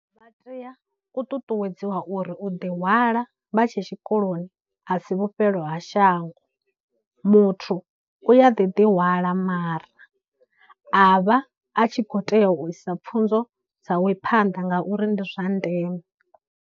Vha tea u ṱuṱuwedziwa uri u ḓi hwala vha tshe tshikoloni a si vhufhelo ha shango, muthu u a ḓi ḓihwala mara a vha a tshi khou tea u isa pfhunzo dzawe phanḓa ngauri ndi zwa ndeme.